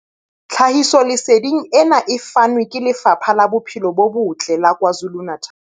Tlhahisoleseding ena e fanwe ke Lefapha la Bophelo bo Botle la KwaZulu-Natal.